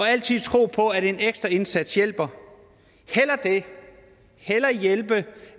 altid tro på at en ekstra indsats hjælper hellere hjælpe